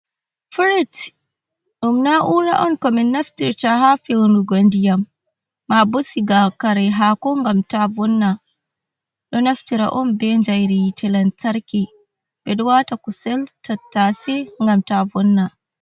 firit. Ɗum na, ura on ko min naftirta ha fewnugo ndiyam, mabo siga kare hako gam ta vonna. Ɗo naftira on be jayrii yite lantarki, ɓeɗo wata kusel tattase gam ta vonna.